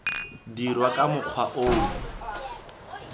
dirwa ka mokgwa o o